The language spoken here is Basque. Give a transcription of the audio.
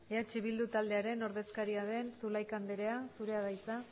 eh bildu taldearen ordezkaria den zulaika andrea zurea da hitza